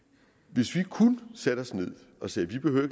hvis vi kun satte os ned og sagde vi behøver